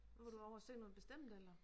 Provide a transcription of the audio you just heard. Var du ovre og se noget bestemt eller